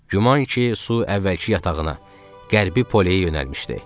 Güman ki, su əvvəlki yatağına, qərbi poleyə yönəlmişdi.